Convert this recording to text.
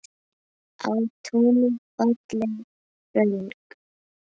Á túni falleg föng.